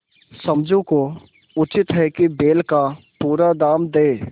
समझू को उचित है कि बैल का पूरा दाम दें